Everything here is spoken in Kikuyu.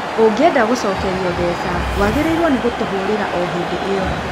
Ũngĩenda gũcokerio mbeca, wagĩrĩirũo nĩ gũtũhurera o hĩndĩ ĩyo